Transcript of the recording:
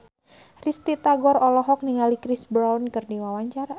Risty Tagor olohok ningali Chris Brown keur diwawancara